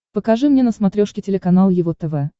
покажи мне на смотрешке телеканал его тв